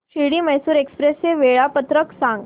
Shirdi Mysore express चे वेळापत्रक सांग